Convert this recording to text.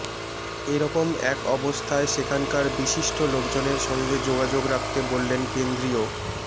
এরকম এক অবস্থায় সেখানকার বিশিষ্ট লোকজনের সঙ্গে যোগাযোগ রাখতে বললেন কেন্দ্রীয়